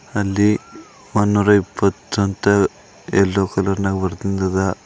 ಅಲ್ಲಿ ವನೂರ ಇಪ್ಪತ್ತು ಅಂತ ಯಲ್ಲೋ ಕಲರ್ ನಾಗ್ ಬಾರ್ದಿನ್ದಾದ.